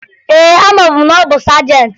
Ee, amabu m na ọ bụ sajentị